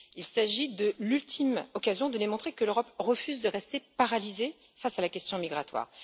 Il s'agit de l'ultime occasion de démontrer que l'Europe refuse de rester paralysée face à la question migratoire.